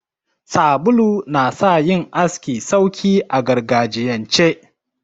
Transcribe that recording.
Sabulu na sa yin aski sauki a gargajiyance.